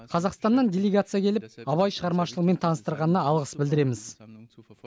қазақстаннан делегация келіп абай шығармашылығымен таныстырғанына алғыс білдіреміз